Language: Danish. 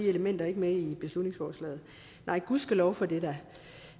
elementer ikke med i beslutningsforslaget nej gudskelov for det